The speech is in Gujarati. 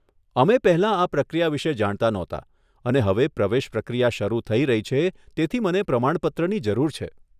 અમે પહેલાં આ પ્રક્રિયા વિષે જાણતા નહોતા અને હવે પ્રવેશ પ્રક્રિયા શરુ થઇ રહી છે, તેથી મને પ્રમાણપત્રની જરૂર છે.